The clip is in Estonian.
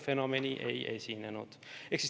Fenomeni ei esinenud.